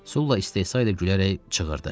Sulla istehsa ilə gülərək çığırdı: